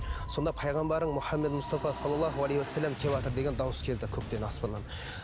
сонда пайғамбарым мұхаммед мұстафа салалаху алейхи уассалам кеватыр деген дауыс келді көктен аспаннан